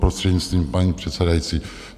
Prostřednictvím paní předsedající.